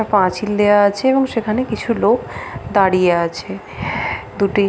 পাঁচিল দেওয়া আছে এবং সেখানে কিছু লোক দাঁড়িয়ে আছে দুটি --